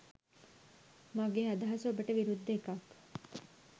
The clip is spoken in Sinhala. මගේ අදහස ඔබට විරුද්ධ එකක්.